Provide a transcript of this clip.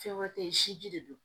Fɛn wɛrɛ tɛ ye siji de don